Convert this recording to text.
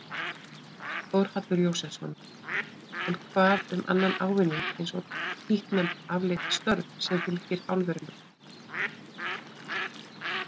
Þórhallur Jósefsson: En hvað um annan ávinning eins og títtnefnd afleidd störf sem fylgi álverunum?